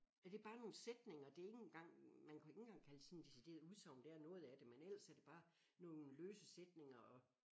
Er det bare nogle sætninger det er ikke engang man kunne ikke engang kalde sådan det decideret udsagn det er noget af det men ellers er det bare nogle løse sætninger og